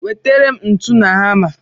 Wetara m ntu na hama!